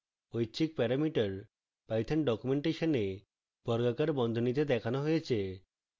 ঐচ্ছিক parameter python ডকুমেন্টেশনে বর্গাকার বন্ধনীতে দেখানো হয়েছে